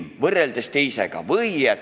Ja kas võrreldes mingi teise ilmaga?